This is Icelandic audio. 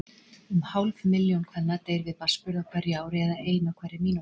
Um hálf milljón kvenna deyr við barnsburð á hverju ári, eða ein á hverri mínútu.